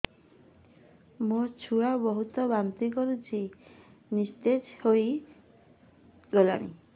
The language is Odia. ମୋ ଛୁଆ ବହୁତ୍ ବାନ୍ତି କରୁଛି ନିସ୍ତେଜ ହେଇ ଗଲାନି